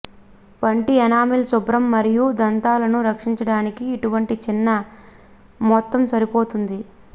పంటి ఎనామెల్ శుభ్రం మరియు దంతాలను రక్షించడానికి ఇటువంటి చిన్న మొత్తం సరిపోతుంది